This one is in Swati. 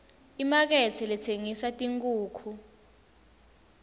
imakethe letsengisa tinkhukhu